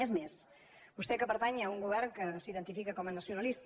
és més vostè que pertany a un govern que s’identifica com a nacionalista